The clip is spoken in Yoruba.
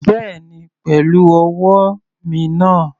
Bẹ́ẹ̀ni pẹ̀lú ọwọ́ mi náà.